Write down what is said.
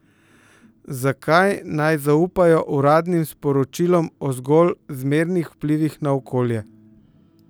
Zakaj naj zaupajo uradnim poročilom o zgolj zmernih vplivih na okolje?